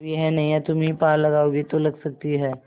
अब यह नैया तुम्ही पार लगाओगे तो लग सकती है